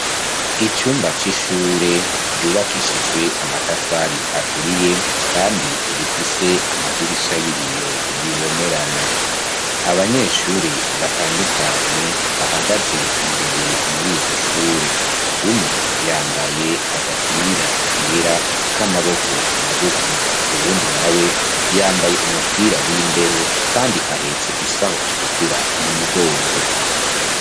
Icumba c'ishure, ryubakishijwe amatafari aturiye, kandi rifise amadirisha y'ibiyo bibonerana; abanyeshure batandukanye, bahagaze imbere muri iryo shure; umwe yambaye agapira kera, k'amaboko bmagufi, uwundi nawe, yambaye umupira w'imbeho, kandi ahetse isaho itukura mu mugongo.